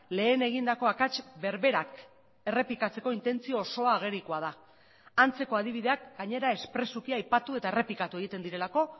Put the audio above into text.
lehen egindako akats berberak errepikatzeko intentzio osoa agerikoa da antzeko adibideak gainera espresuki aipatu eta errepikatu egiten direlako